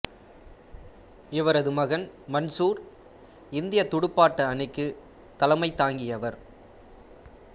இவரது மகன் மன்சூர் இந்தியத் துடுப்பாட்ட அணிக்குத் தலைமை தாங்கியவர்